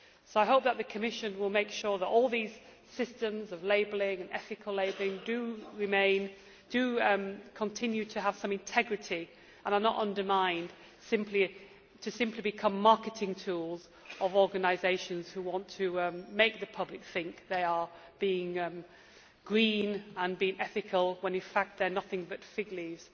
So I hope that the Commission will make sure that all these systems of labelling and ethical labelling do continue to have some integrity and are not undermined to simply become marketing tools of organisations who want to make the public think they are being green and ethical when in fact they are nothing but fig leaves.